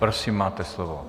Prosím, máte slovo.